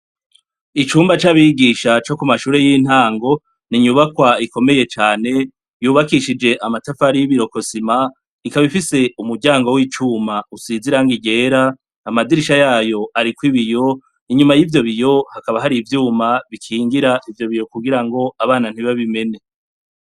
Icumba c'abigisha co ku mashure y'intango ni inyubakwa ikomeye cane yubakishijwe amatafari y'ibirokosima ikaba ifise umuryango w'icuma usize irangi ryera amadirisha yayo ariko ibiyo inyuma yivyo biyo hakaba hari ivyuma bikingira ivyo biyo kugirango abana ntibabimene.